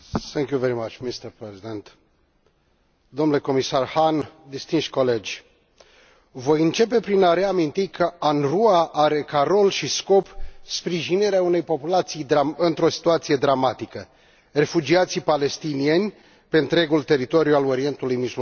Domnule Președinte, domnule comisar Hahn, distinși colegi, voi începe prin a reaminti că UNRWA are ca rol și scop sprijinirea unei populații într o situație dramatică, refugiații palestinieni, pe întregul teritoriu al Orientului Mijlociu.